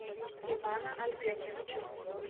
ивана альбертовича